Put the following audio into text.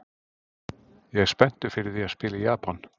Ég er spenntur fyrir því að spila í Japan.